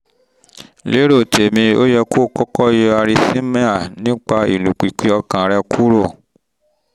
lérò tèmi ó yẹ kó o kọ́kọ́ yọ arrhythmia nípa ìlùpìpì ọkàn rẹ kúrò